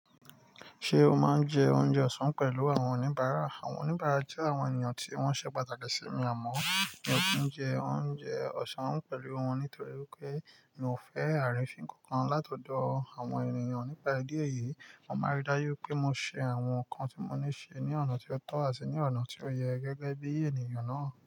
Ṣé o máa ń jẹ oúnjẹ ọ̀sán pẹ̀lú àwọn oníbàárà? Àwọn oníbàárà jẹ́ àwọn ènìyàn tí wọ́n ṣe pàtàkì sí mi àmọ́ mi ò kì n jẹ oúnjẹ ọ̀sán pẹ̀lú wọn nítorí pé mi ò fẹ́ àrínfín kankan látọ̀dọ̀ àwọn ènìyàn nípa ìdí èyí, mo máa rí dájú pé mo ṣe àwọn nǹkan tí mo ní ṣe ní ọ̀nà tó tọ́ àti ní ọ̀nà tí ó yẹ gẹ́gẹ́ bí ènìyàn náà.